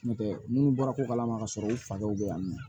N'o tɛ minnu bɔra ko kalama ka sɔrɔ u fa dɔw bɛ yan nɔ